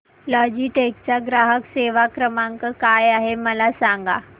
Logitech चा ग्राहक सेवा क्रमांक काय आहे मला सांगा